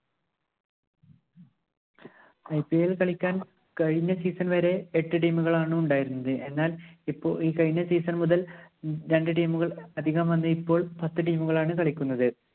IPL കളിക്കാന്‍ കഴിഞ്ഞ season വരെ എട്ട് team ഉകളാണ് ഉണ്ടായിരുന്നത്. എന്നാൽ ഇപ്പോ ഈ കഴിഞ്ഞ season മുതല്‍ രണ്ടു team ഉകള്‍ അധികം വന്നു. ഇപ്പോള്‍ പത്ത് team ഉകളാണ് കളിക്കുന്നത്.